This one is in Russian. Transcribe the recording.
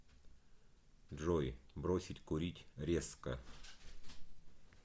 джой бросить курить резко